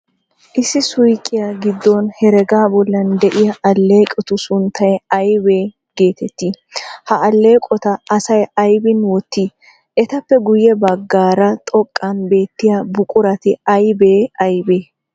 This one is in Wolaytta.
Issi suuqiya giddon hergaa bollan de'iya alleeqotu sunttay ayba geeteettii? Ha alleeqota asay aybin wottii? Etappe guyye baggaara xoqqan beettiya buqurati aybee aybee?